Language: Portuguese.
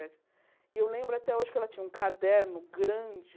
E eu lembro até hoje que ela tinha um caderno grande,